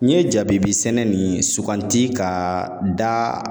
N ye jabibi sɛnɛ nin sugandi ka da